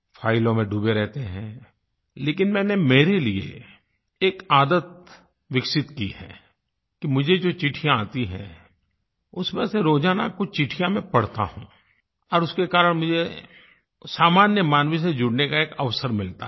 फ़ाइलों में डूबे रहते हैं लेकिन मैंने मेरे लिये एक आदत विकसित की है कि मुझे जो चिट्ठियाँ आती हैं उसमें से रोजाना कुछ चिट्ठियाँ मैं पढ़ता हूँ और उसके कारण मुझे सामान्य मानव से जुड़ने का एक अवसर मिलता है